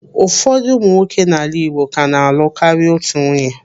Ụfọdụ ụmụ nwoke n'ala Igbo ka na-alụ karịa otu nwunye.